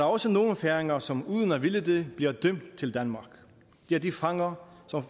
også nogle færinger som uden at ville det bliver dømt til danmark det er de fanger som